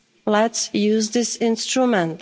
Let's use this instrument.